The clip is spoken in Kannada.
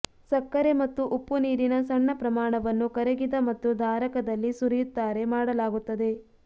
ಸಕ್ಕರೆ ಮತ್ತು ಉಪ್ಪು ನೀರಿನ ಸಣ್ಣ ಪ್ರಮಾಣವನ್ನು ಕರಗಿದ ಮತ್ತು ಧಾರಕದಲ್ಲಿ ಸುರಿಯುತ್ತಾರೆ ಮಾಡಲಾಗುತ್ತದೆ